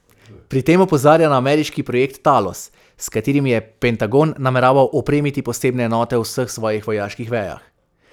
Pri tem opozarja na ameriški projekt Talos, s katerim je Pentagon nameraval opremiti posebne enote v vseh svojih vojaških vejah.